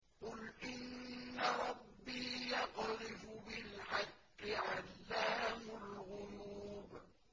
قُلْ إِنَّ رَبِّي يَقْذِفُ بِالْحَقِّ عَلَّامُ الْغُيُوبِ